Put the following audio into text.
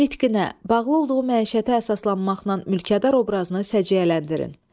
Nitqinə, bağlı olduğu məişətə əsaslanmaqla mülkədar obrazını səcəyyələndirin.